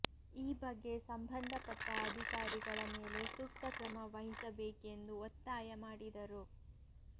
ಈ ಬಗ್ಗೆ ಸಂಬಂಧಪಟ್ಟ ಅಧಿಕಾರಿಗಳ ಮೇಲೆ ಸೂಕ್ತ ಕ್ರಮ ವಹಿಸಬೇಕೆಂದು ಒತ್ತಾಯ ಮಾಡಿದರು